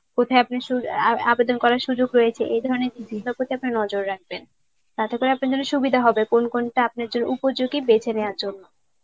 কোথায় আবেদন করার সুযোগ রয়েছে. এই ধরনের নজর রাখবেন. তাতে করে আপনার জন্য সুবিধা হবে কোন কোনটা আপনার জন্য উপযোগী বেছে নেওয়ার জন্য.